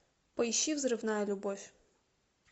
поищи взрывная любовь